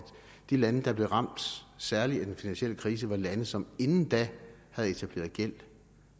de lande der blev ramt særligt af den finansielle krise var lande som inden da havde etableret gæld